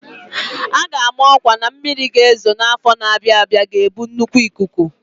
A ga-ama ọkwa na mmiri ga-ezo n'afọ na-abịa abịa ga-ebu nnukwu ikuku.